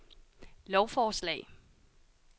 lovforslag